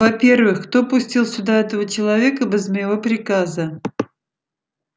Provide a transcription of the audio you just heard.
во-первых кто пустил сюда этого человека без моего приказа